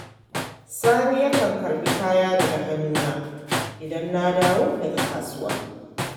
Sani yakan karɓi kaya daga hannuna idan na dawo daga kasuwa.